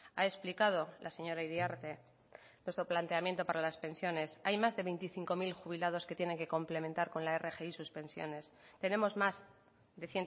ha explicado la señora iriarte nuestro planteamiento para las pensiones hay más de veinticinco mil jubilados que tienen que complementar con la rgi sus pensiones tenemos más de